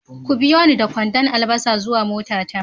ku biyoni da kwandon albasa zuwa motata